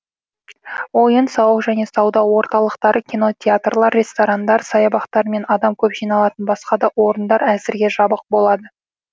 ойын сауық және сауда орталықтары кинотеатрлар ресторандар саябақтар мен адам көп жиналатын басқа да орындар әзірге жабық болады